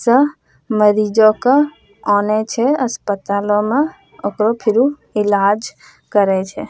स मरीजों क ओने छे अस्पतालों म ओकरो फिरू ईलाज करे छे।